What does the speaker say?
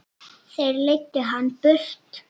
Þeir leiddu hann burt.